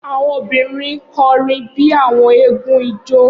Awọn obirin kọrin bi awọn eégún ijó